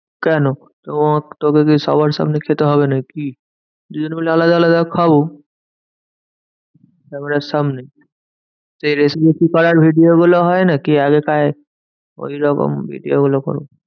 কেন? তো~ তোকে কি সবার সামনে খেতে হবে নাকি? দুজন মাইল আলাদা আলাদা খাবো। খাবারের সামনে সেই রেশমি কুকারের video গুলো হয়না? কে আগে খায়? ওইরকম video গুলো করবো।